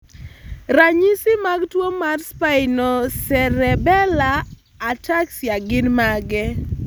Ranyisi mag tuwo mar Spinocerebellar ataxia gin mage?